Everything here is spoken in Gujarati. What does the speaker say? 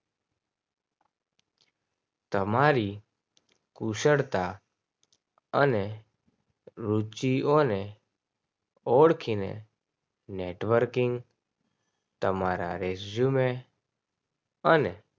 તમારી કુશળતા અને રૂપિયો ને ઓળખીને networking તમારા resume અને